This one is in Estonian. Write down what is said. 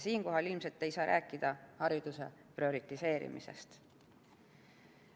Siinkohal ei saa ilmselt rääkida hariduse prioriseerimisest.